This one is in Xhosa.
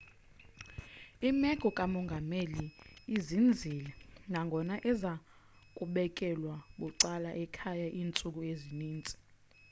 imeko kamongameli izinzile nangona eza kubekelwa bucala ekhaya iintsuku ezininzi